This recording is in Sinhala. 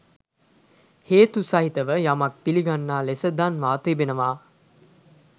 හේතු සහිතව යමක් පිළිගන්නා ලෙස දන්වා තිබෙනවා.